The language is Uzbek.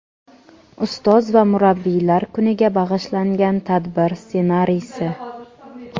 Ustoz va murabbiylar kuniga bag‘ishlangan tadbir ssenariysi.